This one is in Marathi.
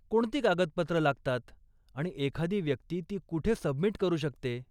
कोणती कागदपत्रं लागतात आणि एखादी व्यक्ती ती कुठे सबमिट करू शकते?